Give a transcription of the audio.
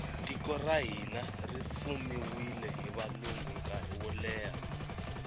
tiko ra hina ri fumiwile hi valungu nkarhi woleha